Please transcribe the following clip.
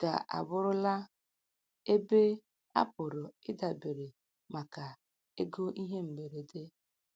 ga abụrụla ebe a pụrụ idabere maka ego ihe mberede.